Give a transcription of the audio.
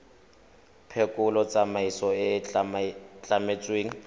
phekolo tsamaiso e e tlametsweng